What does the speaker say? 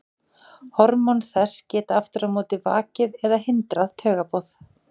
Hormón þess geta aftur á móti vakið eða hindrað taugaboð.